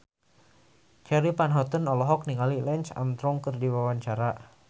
Charly Van Houten olohok ningali Lance Armstrong keur diwawancara